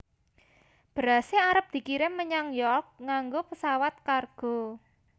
Berase arep dikirim menyang York nganggo pesawat kargo